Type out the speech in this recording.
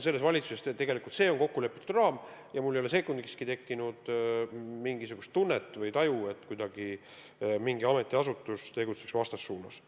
Selles valitsuses on tegelikult see raam kokku lepitud ja mul ei ole sekundikski tekkinud mingisugust taju, et mingi ametiasutus tegutseb kuidagi vastassuunas.